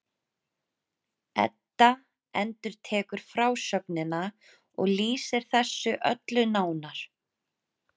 Edda endurtekur frásögnina og lýsir þessu öllu nánar.